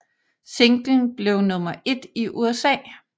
Singlen blev nummer 1 i USA